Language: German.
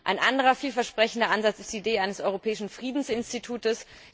Ein anderer vielversprechender Ansatz ist die Idee eines europäischen Friedensinstitutes.